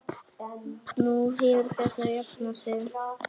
Nú hefur þetta jafnað sig.